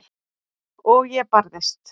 Og ég barðist.